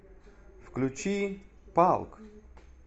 включи палк